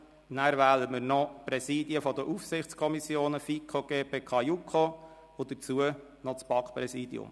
Anschliessend wählen wir noch die Präsidien der Aufsichtskommissionen FiKo, GPK und JuKo und dazu noch das BaK-Präsidium.